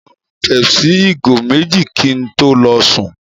Mo máa mu pepsi ìgò méjì kí n tó lọ sùn.